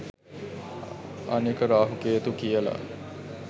අනික රාහු කේතු කියලා